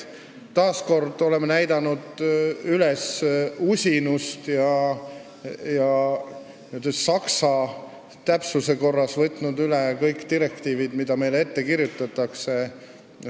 Taas kord oleme näidanud üles usinust ja saksa täpsuse korras võtnud üle kõik direktiivid, mis meile on ette kirjutatud.